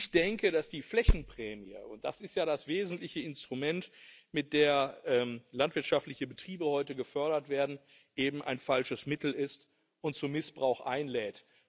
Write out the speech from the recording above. Ich denke, dass die Flächenprämie und das ist ja das wesentliche Instrument, mit dem landwirtschaftliche Betriebe heute gefördert werden eben ein falsches Mittel ist und zum Missbrauch einlädt.